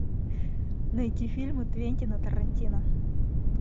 найти фильмы квентина тарантино